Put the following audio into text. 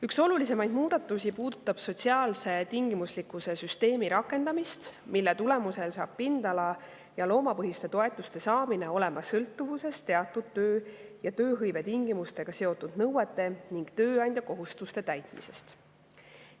Üks olulisemaid muudatusi puudutab sotsiaalse tingimuslikkuse süsteemi rakendamist, mille tulemusel hakkab pindala‑ ja loomapõhiste toetuste saamine olema sõltuvuses teatud töö‑ ja tööhõivetingimustega seotud nõuete ning tööandja kohustuste täitmisest.